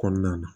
Kɔnɔna na